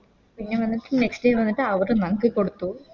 പിന്നെ വന്നിട്ട് Next time വന്നിട്ട് അവര് നമുക്ക് കൊടത്തു